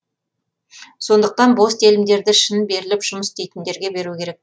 сондықтан бос телімдерді шын беріліп жұмыс істейтіндерге беру керек